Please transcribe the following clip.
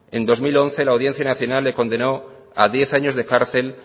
en dos mil once la audiencia nacional le condenó a diez años de cárcel